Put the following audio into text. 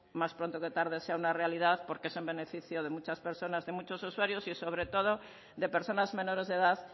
más pronto que tarde sea una realidad porque es en beneficio de muchas personas de muchos usuarios y sobre todo de personas menores de edad